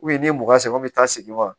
n'i m'u sɛgɛn u bɛ taa segin wa